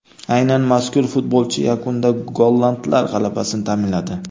Aynan mazkur futbolchi yakunda gollandlar g‘alabasini ta’minladi.